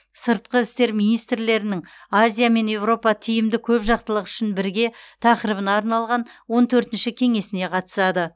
сыртқы істер министрлерінің азия мен еуропа тиімді көпжақтылық үшін бірге тақырыбына арналған он төртінші кеңесіне қатысады